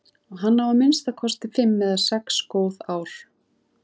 Hann á að minnsta kosti fimm eða sex góð ár.